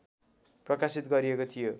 प्रकाशित गरिएको थियो